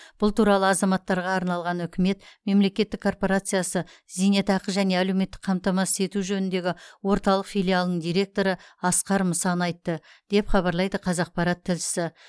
бұл туралы азаматтарға арналған үкімет мемлекеттік корпорациясы зейнетақы және әлеуметтік қамтамасыз ету жөніндегі орталық филиалының директоры асқар мұсан айтты деп хабарлайды қазақпарат тілшісі